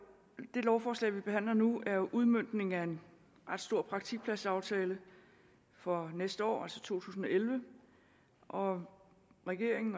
det lovforslag vi behandler nu er jo udmøntningen af en ret stor praktikpladsaftale for næste år altså to tusind og elleve og regeringen